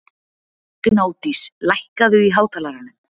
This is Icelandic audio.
Gnádís, lækkaðu í hátalaranum.